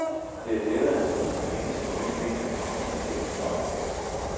Det er lettere at låne penge til en ny bil end til en brugt bil.